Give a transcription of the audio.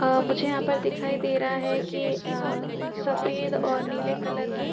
मुझे यहां पर दिखाई दे रहा है की सफेद और नीले कलर के --